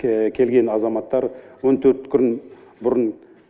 келген азаматтар он төрт күн бұрын